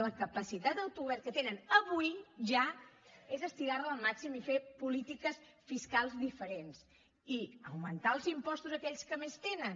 la capacitat d’autogovern que tenen avui ja és estirar la al màxim i fer polítiques fiscals diferents i augmentar els impostos a aquells que més tenen